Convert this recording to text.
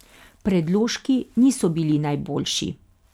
Predložki niso bili najboljši.